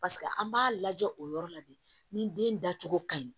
Paseke an b'a lajɛ o yɔrɔ la de ni den dacogo ka ɲi